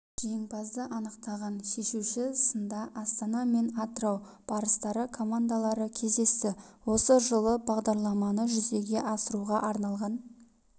жеңімпазды анықтаған шешуші сында астана мен атырау барыстары командалары кездесті осы жылы бағдарламаны жүзеге асыруға арналған